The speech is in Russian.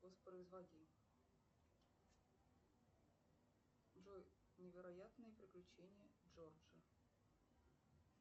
воспроизводи джой невероятные приключения джорджа